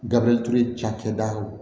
Gabriel ture cakɛdaw